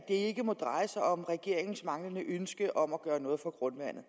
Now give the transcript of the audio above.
ikke må dreje sig om regeringens manglende ønske om at gøre noget for grundvandet